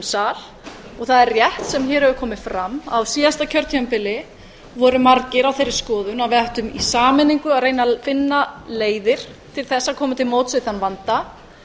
sal og það er rétt sem hér hefur komið fram að á síðasta kjörtímabili voru margir á þeirri skoðun að við ættum í sameiningu að reyna að finna leiðir til þess að koma til móts við þann vanda